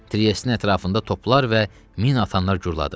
Triyestin ətrafında toplar və min atanlar guruladı.